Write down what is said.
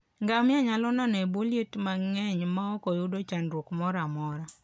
Ngamia nyalo nano e bwo liet mang'eny maok oyud chandruok moro amora.